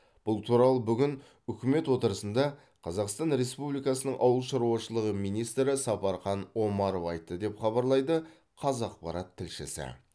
бұл туралы бүгін үкімет отырысында қазақстан республикасының ауыл шаруашылығы министрі сапархан омаров айтты деп хабарлайды қазақпарат тілшісі